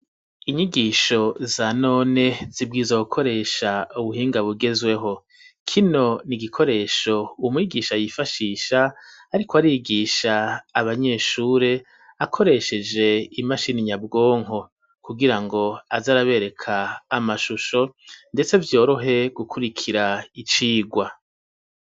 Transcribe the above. Inyigisho za none zibwiza gukoresha ubuhinga bugezweho kino ni igikoresho umwigisha yifashisha ariko arigisha abanyeshure akoresheje imashini nyabwonko kugirango azarabereka amashusho ndetse vyorohe gukurikira icigwa.